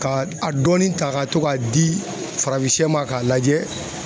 Ka a dɔɔni ta ka to k'a di farafin sɛ ma k'a lajɛ